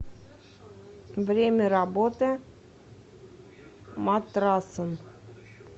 время работы матрасон